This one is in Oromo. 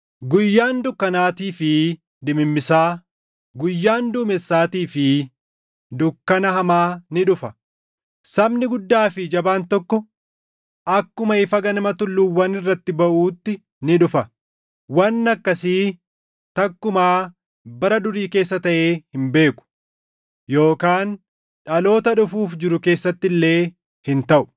guyyaan dukkanaatii fi dimimmisaa, guyyaan duumessaatii fi dukkana hamaa ni dhufa. Sabni guddaa fi jabaan tokko akkuma ifa ganama tulluuwwan irratti baʼuutti ni dhufa; wanni akkasii takkumaa bara durii keessa taʼee hin beeku yookaan dhaloota dhufuuf jiru keessatti illee hin taʼu.